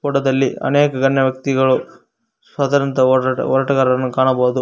ಪಕ್ಕದಲ್ಲಿ ಅನೇಕ ಗಣ್ಯ ವ್ಯಕ್ತಿಗಳು ಸ್ವತಂತ್ರ ಹೋರಾಟ ಹೋರಾಟಗಾರರನ್ನು ಕಾಣಬಹುದು.